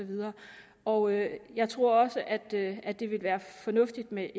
og jeg jeg tror også at det at det vil være fornuftigt med